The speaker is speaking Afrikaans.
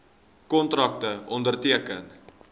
kontrakte onderteken